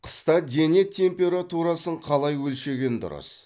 қыста дене температурасын қалай өлшеген дұрыс